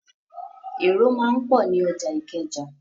Èrò máa ń pọ̀ ní ọjà Ìkẹjà.